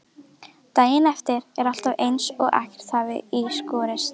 Daginn eftir er alltaf eins og ekkert hafi í skorist.